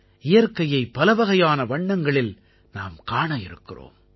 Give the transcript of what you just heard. இயற்கையை பலவகையான வண்ணங்களில் நாம் காண இருக்கிறோம்